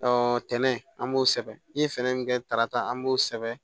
tɛnɛ an b'o sɛbɛn n ye fɛɛrɛ min kɛ tarata an b'o sɛbɛn